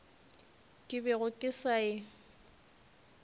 ke bego ke sa e